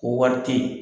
Ko wari te ye